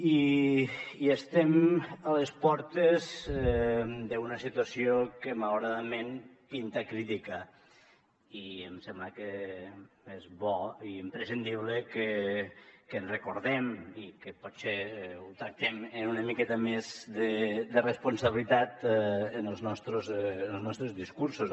i estem a les portes d’una situació que malauradament pinta crítica i em sembla que és bo i imprescindible que ens recordem i que potser ho tractem amb una miqueta més de responsabilitat en els nostres discursos